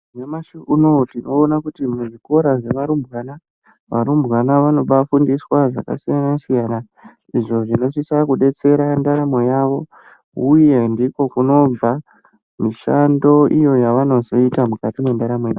Nyamashi unou tinoona kuti muzvikora zvearumbwana arumbwana anobafundiswa zvakasiyanasiyana izvo zvinosisa kubetsera ndaramo yawo uyendi ko kunobva mushando iyo yavanozoita mukati mundaramo dzavo.